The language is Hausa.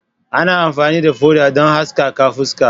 Ana amfani da foda don haskaka fuska.